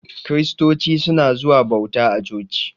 Kiristoci suna zuwa bauta a coci.